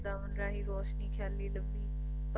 ਗਾਉਣ ਰਾਂਹੀ ਰੋਸ਼ਨੀ ਖਿਆਲੀ ਦੱਬੀ